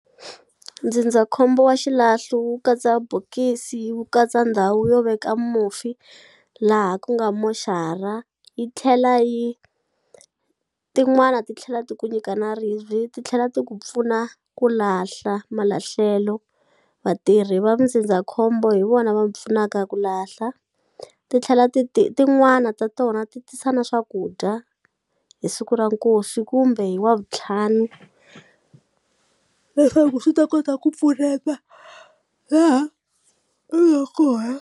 Ndzindzakhombo wa xilahlo wu katsa bokisi wu katsa ndhawu yo veka mufi laha ku nga moxara yi tlhela yi tin'wana ti tlhela ti ku nyika na ribyi titlhela ti ku pfuna ku lahla malahlelo vatirhi va ndzindzakhombo hi vona va mu pfunaka ku lahla titlhela ti tin'wana ta tona ti tisa na swakudya hi siku ra nkosi kumbe hi wavutlhanu leswaku swi ta kota ku pfuneta laha kona.